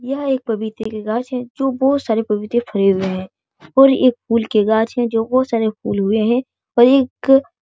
यह एक पपीते की गाछ है जो बहुत सारे पपीते फरे हुए हैं और एक फूल की गाछ है जो बहुत सारे फूल उगे हैं और एक --